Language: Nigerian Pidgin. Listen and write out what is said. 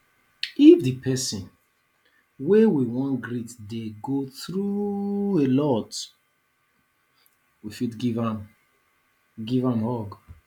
if di person wey we wan greet dey go through alot we fit give am give am hug